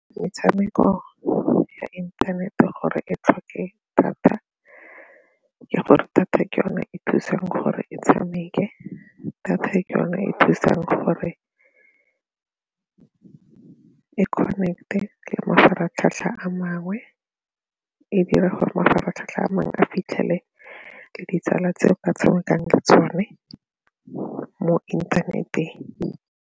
Metshameko ya internet-e gore e tlhoke thata ke gore thata ke yone e thusang gore e tshameke, data ke yone e thusang gore connect-e le mafaratlhatlha a mangwe e dira gore mafaratlhatlha a mangwe a fitlhele le ditsala tse ka tshamekang le tsone mo inthaneteng.